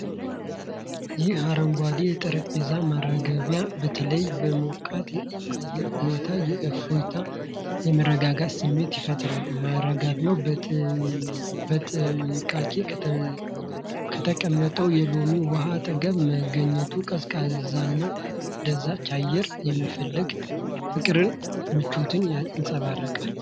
ይህ አረንጓዴ የጠረጴዛ ማራገቢያ በተለይ በሞቃት የአየር ሁኔታ የእፎይታና የመረጋጋት ስሜት ይፈጥራል። ማራገቢያው በጥንቃቄ ከተቀመጠው የሎሚ ውሃ አጠገብ መገኘቱ፣ ቀዝቃዛና አስደሳች አየርን የመፈለግ ፍቅርንና ምቾትን ያንጸባርቃል።